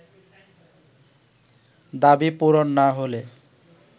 দাবি পূরণ না হলে